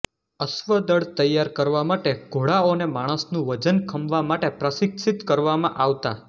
અશ્વદળ તૈયાર કરવા માટે ઘોડાઓને માણસનું વજન ખમવા માટે પ્રશિક્ષિત કરવામાં આવતા